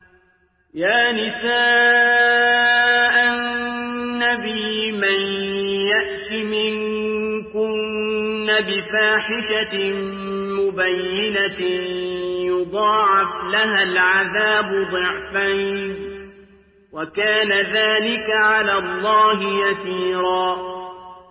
يَا نِسَاءَ النَّبِيِّ مَن يَأْتِ مِنكُنَّ بِفَاحِشَةٍ مُّبَيِّنَةٍ يُضَاعَفْ لَهَا الْعَذَابُ ضِعْفَيْنِ ۚ وَكَانَ ذَٰلِكَ عَلَى اللَّهِ يَسِيرًا